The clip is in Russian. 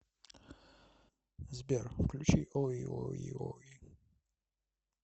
сбер включи ой ой ой